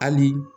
Hali